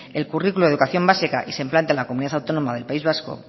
el currículo de educación básica y se implanta en la comunidad autónoma del país vasco